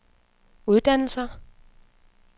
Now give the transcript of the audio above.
uddannelser